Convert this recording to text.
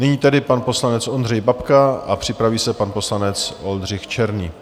Nyní tedy pan poslanec Ondřej Babka a připraví se pan poslanec Oldřich Černý.